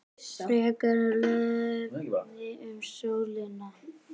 Frekara lesefni um sólina